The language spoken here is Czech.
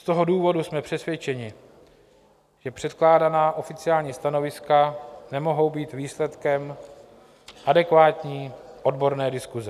Z toho důvodu jsme přesvědčeni, že předkládaná oficiální stanoviska nemohou být výsledkem adekvátní odborné diskuse.